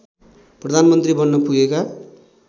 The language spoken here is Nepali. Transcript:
प्रधानमन्त्री बन्न पुगेका